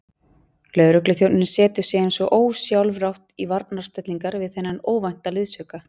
Lögregluþjónninn setur sig eins og ósjálfrátt í varnarstellingar við þennan óvænta liðsauka.